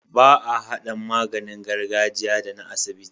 Ba a hada maganin gargajiya da na asibiti